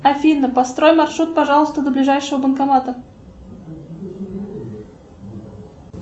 афина построй маршрут пожалуйста до ближайшего банкомата